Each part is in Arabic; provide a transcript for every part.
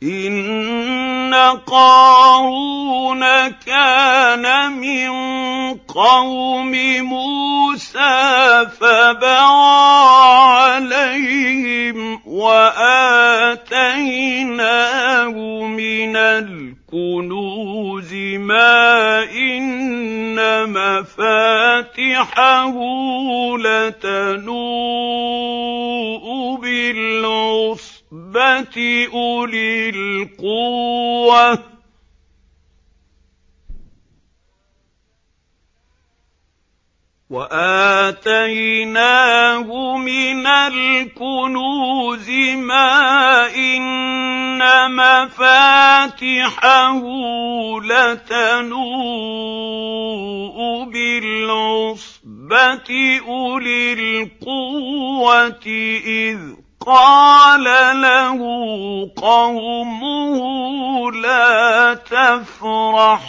۞ إِنَّ قَارُونَ كَانَ مِن قَوْمِ مُوسَىٰ فَبَغَىٰ عَلَيْهِمْ ۖ وَآتَيْنَاهُ مِنَ الْكُنُوزِ مَا إِنَّ مَفَاتِحَهُ لَتَنُوءُ بِالْعُصْبَةِ أُولِي الْقُوَّةِ إِذْ قَالَ لَهُ قَوْمُهُ لَا تَفْرَحْ ۖ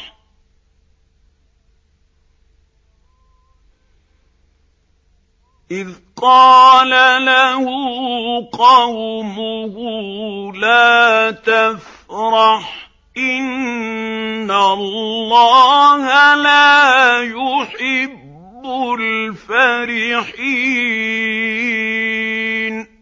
إِنَّ اللَّهَ لَا يُحِبُّ الْفَرِحِينَ